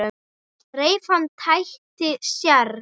Reif hana, tætti, særði.